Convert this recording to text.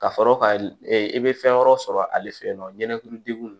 Ka sɔrɔ ka i bɛ fɛn wɛrɛ sɔrɔ ale fɛ yen nɔ ɲɛnɛ dekun